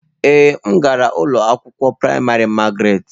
Ee, m gara ụlọ akwụkwọ praịmarị Magaratị.